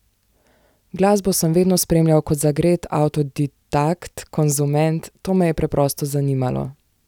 Glasbo sem vedno spremljal kot zagret avtodidakt, konzument, to me je preprosto zanimalo.